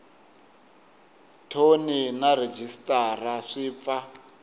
thoni na rhejisitara swi pfa